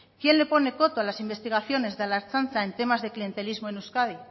quién le pone coto a las investigaciones de la ertzaintza en temas de clientelismo en euskadi